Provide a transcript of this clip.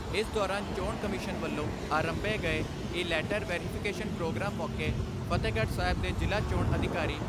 ਇਸ ਦੌਰਾਨ ਚੋਣ ਕਮਿਸ਼ਨ ਵੱਲੋਂ ਅਰੰਭੇ ਗਏ ਇਲੈਟਰ ਵੈਰੀਫਿਕੇਸ਼ਨ ਪ੍ਰੋਗਰਾਮ ਮੌਕੇ ਫਤਿਹਗੜ੍ਹ ਸਾਹਿਬ ਦੇ ਜਿਲ੍ਹਾ ਚੋਣ ਅਧਿਕਾਰੀ ਡਾ.